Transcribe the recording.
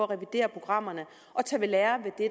revidere programmerne og tage ved lære af det